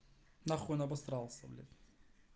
нахуй он обасрался блять